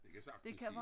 Det kan sagtens blive